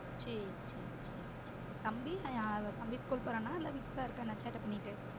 சேரி சேரி சேரி சேரி தம்பி அவ தம்பி ஸ்கூல் போறானா இல்ல வீட்டுல தா இருக்கனா சேட்ட பண்ணிட்டு